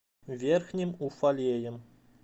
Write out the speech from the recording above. верхним уфалеем